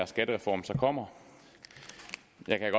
skattereform så kommer